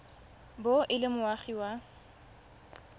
bo e le moagi wa